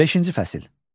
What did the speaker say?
Beşinci fəsil.